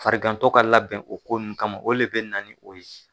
Farigantɔ ka labɛn o ko nun kama o le bɛ na ni o ye.